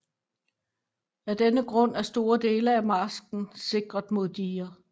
Af denne grund er store dele af marsken sikret med diger